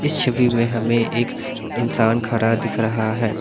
इस छवि में हमें एक इंसान खड़ा दिख रहा है।